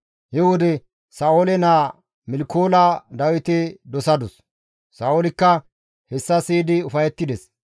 He wode Sa7oole naa Milkoola Dawite dosadus; Sa7oolikka hessa siyidi ufayettides.